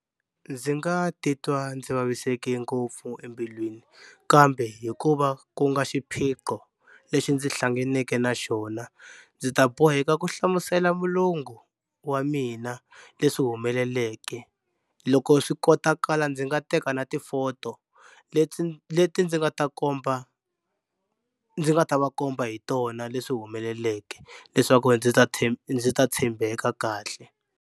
Ndzi nga titwa ndzi vaviseke ngopfu embilwini kambe hikuva ku nga xiphiqo lexi ndzi hlanganeke na xona ndzi ta boheka ku hlamusela mulungu wa mina leswi humeleleke loko swi kotakala ndzi nga teka na ti-photo leti leti ndzi nga ta komba ndzi nga ta va komba hi tona leswi humeleleke leswaku ndzi ta ndzi ta tshembeka kahle.